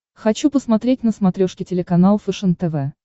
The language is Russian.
хочу посмотреть на смотрешке телеканал фэшен тв